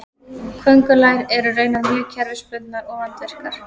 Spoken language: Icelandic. köngulær eru raunar mjög kerfisbundnar og vandvirkar